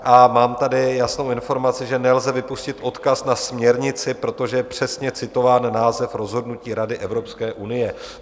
A mám tady jasnou informaci, že nelze vypustit odkaz na směrnici, protože je přesně citován název rozhodnutí Rady Evropské unie.